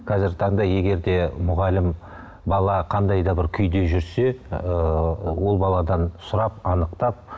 қазіргі таңда егер де мұғалім бала қандай да бір күйде жүрсе ыыы ол баладан сұрап анықтап